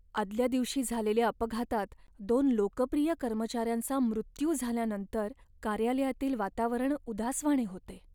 आदल्या दिवशी झालेल्या अपघातात दोन लोकप्रिय कर्मचाऱ्यांचा मृत्यू झाल्यानंतर कार्यालयातील वातावरण उदासवाणे होते.